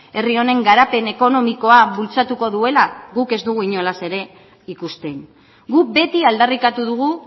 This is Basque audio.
herri honen garapen ekonomikoa bultzatuko duela guk ez dugu inolaz ere ikusten guk beti aldarrikatu dugu